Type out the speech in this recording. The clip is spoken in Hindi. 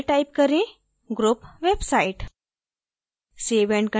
label में type करें group website